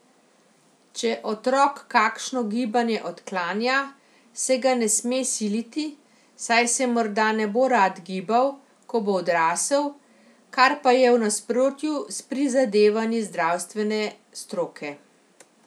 Če otrok kakšno gibanje odklanja, se ga ne sme siliti, saj se morda ne bo rad gibal, ko bo odrasel, kar pa je v nasprotju s prizadevanji zdravstvene stroke.